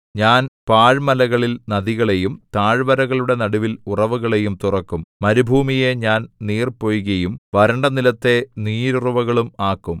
ഞാൻ പാഴ്മലകളിൽ നദികളെയും താഴ്വരകളുടെ നടുവിൽ ഉറവുകളെയും തുറക്കും മരുഭൂമിയെ ഞാൻ നീർപൊയ്കയും വരണ്ട നിലത്തെ നീരുറവുകളും ആക്കും